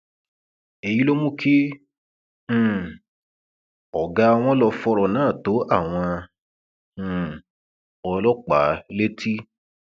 èyí ló mú kí um ọgá wọn lọọ fọrọ náà tó àwọn um ọlọpàá létí